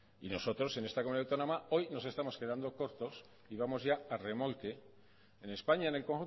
y nosotros en esta comunidad autónoma hoy nos estamos quedando cortos y vamos ya a remolque en españa en el